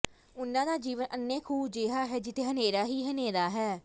ਉਨ੍ਹਾਂ ਦਾ ਜੀਵਨ ਅੰਨ੍ਹੇ ਖੂਹ ਜਿਹਾ ਹੈ ਜਿੱਥੇ ਹਨੇਰਾ ਹੀ ਹਨੇਰਾ ਹੈ